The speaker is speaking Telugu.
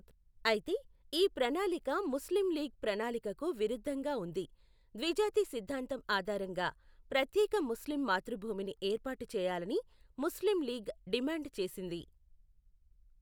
అయితే, ఈ ప్రణాళిక ముస్లింలీగ్ ప్రణాళికకు విరుద్ధంగా ఉంది. ద్విజాతి సిద్ధాంతం ఆధారంగా ప్రత్యేక ముస్లిం మాతృభూమిని ఏర్పాటు చేయాలని ముస్లింలీగ్ డిమాండ్ చేసింది.